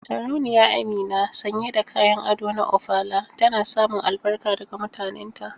Sarauniya Amina, sanye da kayan ado na Ofala, tana samun albarka daga mutanenta.